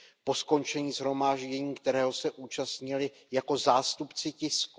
Po skončení shromáždění, kterého se zúčastnili jako zástupci tisku.